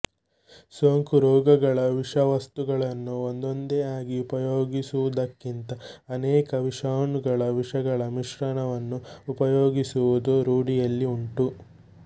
ಸೋಂಕು ರೋಗಗಳ ವಿಷವಸ್ತುಗಳನ್ನು ಒಂದೊಂದೇ ಆಗಿ ಉಪಯೋಗಿಸುವುದಕ್ಕಿಂತ ಅನೇಕ ವಿಷಾಣುಗಳ ವಿಷಗಳ ಮಿಶ್ರಣವನ್ನು ಉಪಯೋಗಿಸುವುದೂ ರೂಢಿಯಲ್ಲಿ ಉಂಟು